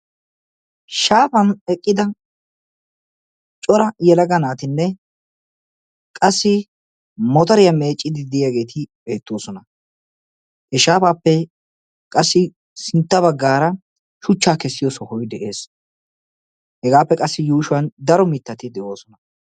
shaafan eqqida cora yelaga naatinne qassi motoriya meeccide de'iyaageeti beettoosona. he shaafappe qassi sintta baggaara shuchcha kessiyo sohoy de'ees. hegappe qassi yuushshuwan daro mittati de'oosona.